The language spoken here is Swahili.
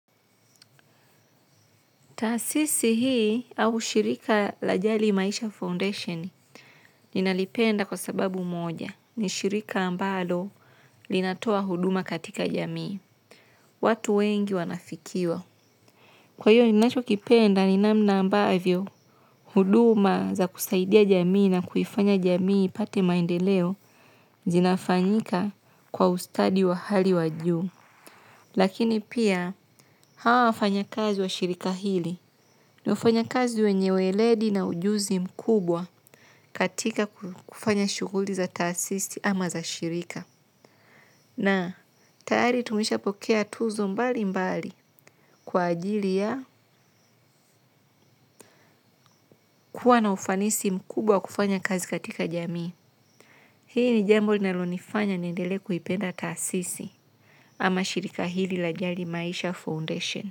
Taasisi hii au shirika la Jali Maisha foundation ninalipenda kwa sababu moja: ni shirika ambalo linatoa huduma katika jamii. Watu wengi wanafikiwa. Kwa hiyo ninachokipenda ni namna ambavyo huduma za kusaidia jamii na kuifanya jamii ipate maendeleo zinafanyika kwa ustadi wa hali ya juu. Lakini pia hawa wafanya kazi wa shirika hili. Wafanyakazi wenye weledi na ujuzi mkubwa, katika kufanya shughuli za taasisi ama za shirika. Na tayari tumeshapokea tuzo mbali mbali. Kwa ajili ya, kuwa na ufanisi mkubwa kufanya kazi katika jamii. Hii ni jambo linalonifanya niendelee kuipenda taasisi ama shirika hili la jali maisha foundation.